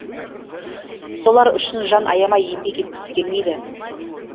солар үшін жан аямай еңбек еткісі келмейді